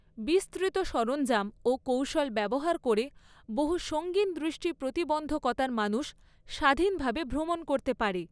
বিস্তৃত সরঞ্জাম ও কৌশল ব্যবহার করে বহু সঙ্গিন দৃষ্টি প্রতিবন্ধকতার মানুষ স্বাধীনভাবে ভ্রমণ করতে পারে।